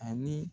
Ani